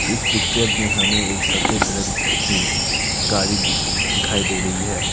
इस पिक्चर में हमें एक सफेद रंग की गाड़ी दिखाई दे रही है।